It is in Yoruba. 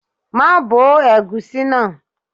Má bo ẹ̀gúsí náà.